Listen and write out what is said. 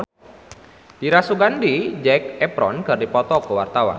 Dira Sugandi jeung Zac Efron keur dipoto ku wartawan